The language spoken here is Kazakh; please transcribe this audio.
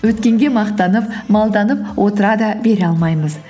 өткенге мақтанып малданып отыра да бере алмаймыз